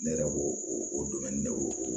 Ne yɛrɛ b'o o dumuni ne weele